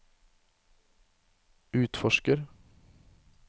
utforsker